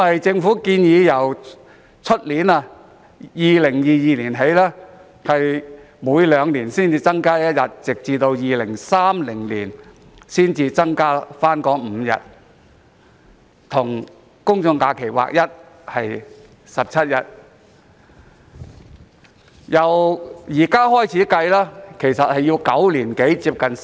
政府建議，自2022年起，每兩年新增1日，直到2030年才增加5日，即增至17日，與公眾假期日數看齊。